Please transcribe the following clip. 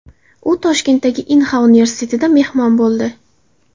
U Toshkentdagi Inha universitetida mehmon bo‘ldi .